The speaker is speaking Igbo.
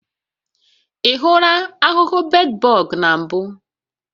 Ị hụla ahụhụ bedbọg na mbụ?